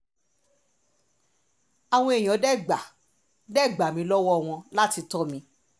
àwọn èèyàn dè gbà dè gbà mí lọ́wọ́ wọn láti tọ́ mi